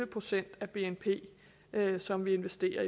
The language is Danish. procent af bnp som vi investerer